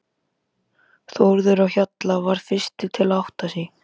Þórður á Hjalla varð fyrstur til að átta sig.